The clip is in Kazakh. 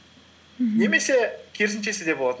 мхм немесе керісіншесі де болады